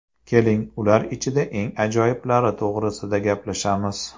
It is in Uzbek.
Keling, ular ichida eng ajoyiblari to‘g‘risida gaplashamiz.